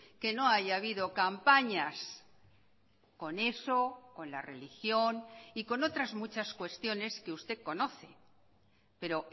que no haya habido campañas con eso con la religión y con otras muchas cuestiones que usted conoce pero